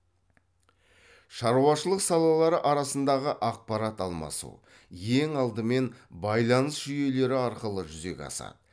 шаруашылық салалары арасындағы ақпарат алмасу ең алдымен байланыс жуйелері арқылы жүзеге асады